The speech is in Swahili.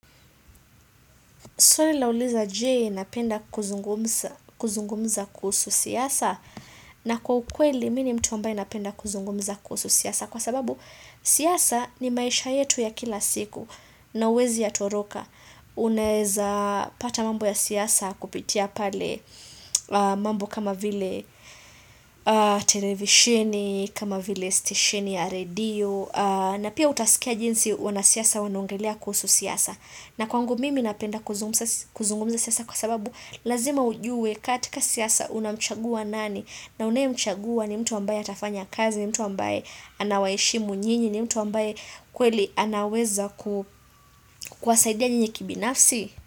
Swali lauliza je, napenda kuzungumza kuzungumza kuhsu siasa? Na kwa ukweli mi ni mtu ambaye napenda kuzungumza kuhusu siasa. Kwa sababu siasa ni maisha yetu ya kila siku na huwezi yatoroka. Unaeza pata mambo ya siasa kupitia pale mambo kama vile televisheni, kama vile stesheni ya redio na pia utasikia jinsi wanasiasa wanaongelea kuhusu siasa. Na kwangu mimi napenda kuzungumza siasa kwa sababu lazima ujue katika siasa unamchagua nani na unayemchagua ni mtu ambaye atafanya kazi, ni mtu ambaye anawaheshimu nyini, ni mtu ambaye kweli anaweza kuwasaidia nyinyi kibinafsi.